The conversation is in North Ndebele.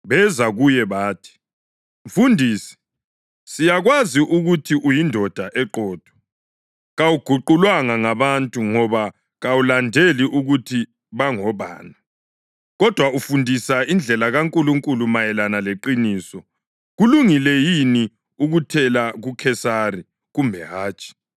Beza kuye bathi, “Mfundisi, siyakwazi ukuthi uyindoda eqotho. Kawuguqulwanga ngabantu ngoba kawulandeli ukuthi bangobani; kodwa ufundisa indlela kaNkulunkulu mayelana leqiniso. Kulungile yini ukuthela kuKhesari, kumbe hatshi?